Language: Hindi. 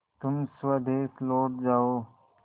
तुम स्वदेश लौट जाओ